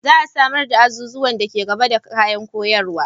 Za a samar da azuzuwan da ke gaba da kayan koyarwa.